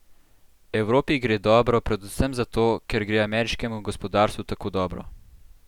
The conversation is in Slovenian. Evropi gre dobro predvsem zato, ker gre ameriškemu gospodarstvu tako dobro.